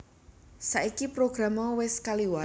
Saiki program mau wis kliwat